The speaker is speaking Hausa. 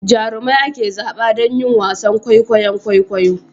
Jarumai ake zaba don yin wasan kwaikwayon kwaikwayo